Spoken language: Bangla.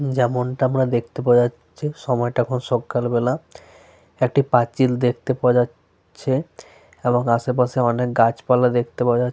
যেমনটা আমরা দেখতে পাওয়া যাচ্ছে সময়টা এখন সকালবেলা। একটি পাঁচিল দেখতে পাওয়া যা চ্ছে এবং আশেপাশে অনেক গাছপালা দেখতে পাওয়া যা --